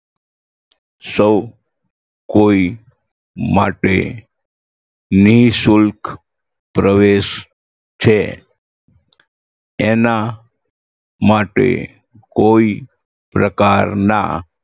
સૌ કોઈ માટે નિશુલ્ક પ્રવેશ છે એના માટે કોઈ પ્રકારના